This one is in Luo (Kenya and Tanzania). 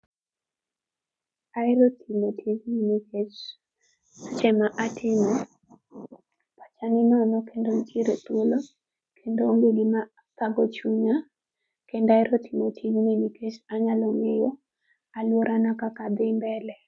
Ahero timo tijni nikech seche ma atime, aneno ni kendo nitiere thuolo, kendo onge gima thago chunya. Kendo ahero timo tij ni nikech anyalo ng'eyo aluorana kaka dhi mbele.